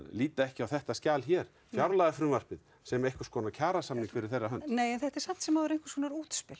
líta ekki á þetta skjal hér fjárlagafrumvarpið sem einhverskonar kjarasamning fyrir þeirra hönd nei nei en þetta er samt sem áður einhverskonar útspil